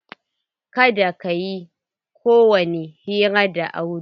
Kada ka yi kowani hira da Audu.